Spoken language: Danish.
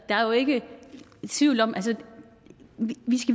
der er jo ikke tvivl om at vi